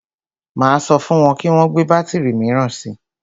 Máa sọ fún wọn kí wọn gbé bátìrì míràn si.